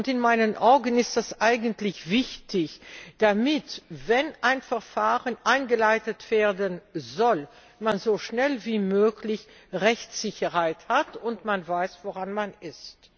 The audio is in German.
In meinen Augen ist das eigentlich wichtig, damit, wenn ein Verfahren eingeleitet werden soll, man so schnell wie möglich Rechtssicherheit hat und weiß, woran man ist.